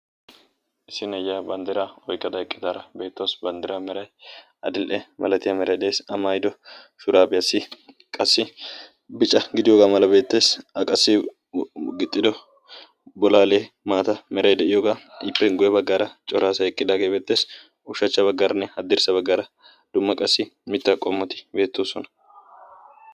Issi na'iyaa banddiraa oyqada eqqidaara beettawus banddira miray adil"e malatiyaa meraideesi amayido shuraabiyaassi qassi bica gidiyoogaa mala beetteessi aqassi gixxido bolaalee maata meray de'iyoogaa ippe guye baggaara coraasa eqqidaagee beetteesi ushachcha baggaaranne addirssa baggaara dumma qassi mittaa qommotii beettoosona.